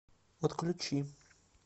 подключи